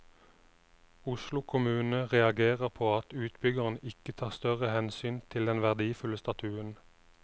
Oslo kommune reagerer på at utbyggeren ikke tar større hensyn til den verdifulle statuen.